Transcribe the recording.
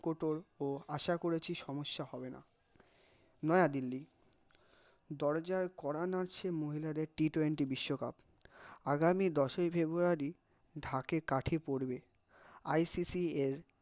কটোর ও আশা করেছি সমস্যা হবে না, নয়া দিল্লি, দরজার কড়া নাড়ছে মহিলাদের t twenty বিশ্বকাপ, আগামী দশই ফেব্রুয়ারি ঢাকা কাঠি পড়বে, আই সি সি এ